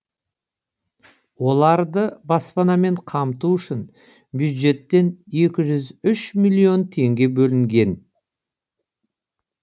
оларды баспанамен қамту үшін бюджеттен екі жүз үш миллион теңге бөлінген